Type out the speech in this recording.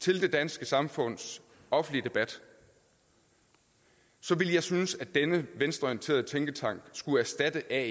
til det danske samfunds offentlige debat så ville jeg synes at denne venstreorienterede tænketank skulle erstatte ae